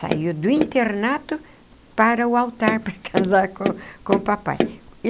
Saiu do internato para o altar, para casar com com o papai.